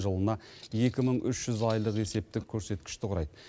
жылына екі мың үш жүз айлық есептік көрсеткішті құрайды